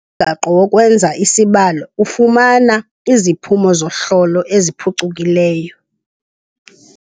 umgaqo wokwenza isibalo ufumana iziphumo zohlolo eziphucukileyo.